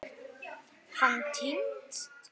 Hann týnst?